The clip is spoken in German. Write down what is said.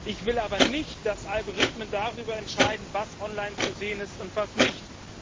Ich will aber nicht, dass Algorithmen darüber entscheiden, was online zu sehen ist und was nicht.